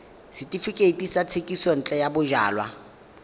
setefikeiti sa thekisontle ya bojalwa